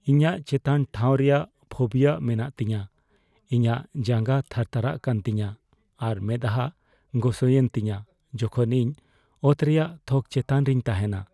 ᱤᱧᱟᱹᱜ ᱪᱮᱛᱟᱱ ᱴᱷᱟᱶ ᱨᱮᱭᱟᱜ ᱯᱷᱳᱵᱤᱭᱟ ᱢᱮᱱᱟᱜ ᱛᱤᱧᱟᱹ᱾ ᱤᱧᱟᱹᱜ ᱡᱟᱸᱜᱟ ᱛᱷᱟᱨᱛᱷᱟᱨᱟᱜ ᱠᱟᱱ ᱛᱤᱧᱟᱹ ᱟᱨ ᱢᱮᱸᱫᱦᱟ ᱜᱚᱥᱚᱭᱮᱱ ᱛᱤᱧᱟᱹ ᱡᱚᱠᱷᱚᱱ ᱤᱧ ᱚᱛ ᱨᱮᱭᱟᱜ ᱛᱷᱚᱠ ᱪᱮᱛᱟᱱ ᱨᱮᱧ ᱛᱟᱦᱮᱱᱟ ᱾